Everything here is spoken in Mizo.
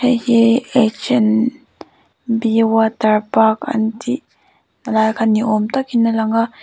heihi h and b water park an tih lai kha ni awm takin a lang a.